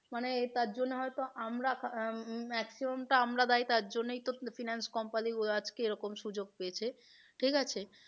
মানে তার জন্য হয়তো আমরা maximum টা আমরা দায়ী তার জন্যই তো finance company গুলো আজকে এরকম সুযোগ পেয়েছে ঠিক আছে।